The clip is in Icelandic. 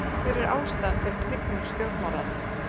Hver er ástæðan fyrir hnignun stjórnmálanna?